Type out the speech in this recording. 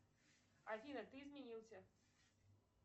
афина ты изменился